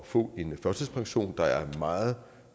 få en førtidspension der er meget